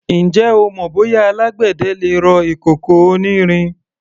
Ǹjẹ́ o mọ bóyá alágbẹ̀dẹ le rọ ìkòkò onírin?